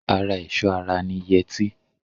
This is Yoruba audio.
Ara ẹ̀ṣọ́ ara ni yẹtí.